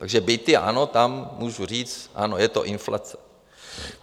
Takže byty, ano, tam můžu říct, ano, je to inflace.